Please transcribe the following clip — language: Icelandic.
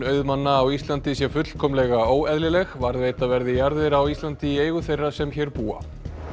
auðmanna á Íslandi sé fullkomlega óeðlileg varðveita verði jarðir á Íslandi í eigu þeirra sem hér búa